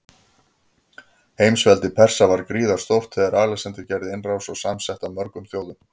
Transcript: Heimsveldi Persa var gríðarstórt þegar Alexander gerði innrás, og samsett af mörgum þjóðum.